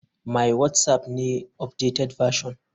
My whatsapp ne updated version.